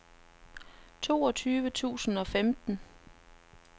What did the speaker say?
toogtyve tusind og femten